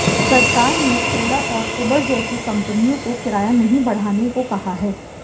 सरकार ने ओला और ऊबर जैसी कंपनियों को किराया नहीं बढ़ाने को कहा है